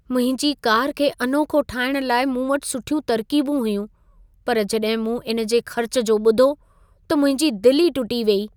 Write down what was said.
मुंहिंजी कार खे अनोखो ठाहिण लाइ मूं वटि सुठियूं तरक़ीबूं हुयूं, पर जॾहिं मूं इन जे ख़र्च जो ॿुधो त मुंहिंजी दिलि ई टुटी वेई!